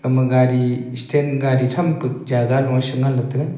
ema gadi stand gadi thampe jaga loe shengan taiga.